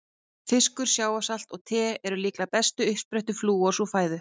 Fiskur, sjávarsalt og te eru líklega bestu uppsprettur flúors úr fæðu.